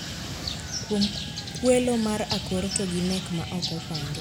Kuom kwelo mar akor to gi nek ma ok opangi